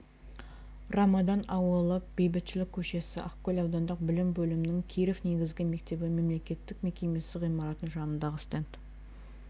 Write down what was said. рамадан ауылы бейбітшілік көшесі ақкөл аудандық білім бөлімінің киров негізгі мектебі мемлекеттік мекемесі ғимаратының жанындағы стенд